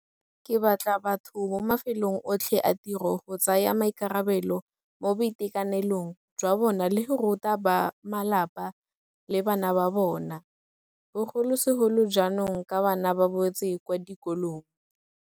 Ke batla batho mo mafelong otlhe a tiro go tsaya maikarabelo mo boitekanelong jwa bona le go ruta bamalapa le bana ba bona, bogolosegolo jaanong ka bana ba boetse kwa dikolong.